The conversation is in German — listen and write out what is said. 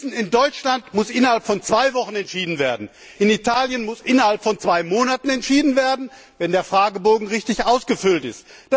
Wir wissen, in Deutschland muss innerhalb von zwei Wochen entschieden werden, in Italien muss innerhalb von zwei Monaten entschieden werden, wenn der Fragebogen richtig ausgefüllt ist.